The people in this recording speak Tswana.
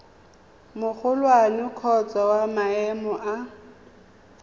magolwane kgotsa wa maemo a